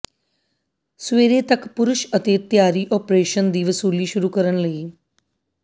ਸਵੇਰੇ ਤੱਕ ਪੁਰਸ਼ ਅਤੇ ਤਿਆਰੀ ਓਪਰੇਸ਼ਨ ਦੀ ਵਸੂਲੀ ਸ਼ੁਰੂ ਕਰਨ ਲਈ